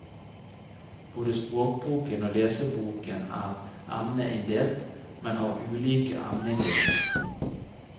Både språkboken og leseboken er emneinndelt, men har ulike emneinndelinger.